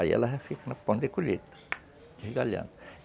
Aí ela já fica no ponto de colheita, desgalhando.